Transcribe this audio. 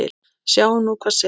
Sjáum nú hvað setur.